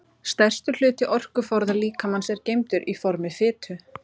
Stærstur hluti orkuforða líkamans er geymdur í formi fitu.